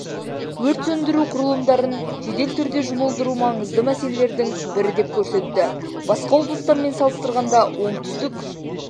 өрт сөндіру құрылымдарын жедел түрде жұмылдыру маңызды мәселелердің бірі деп көрсетті басқа облыстармен салыстырғанда оңтүстік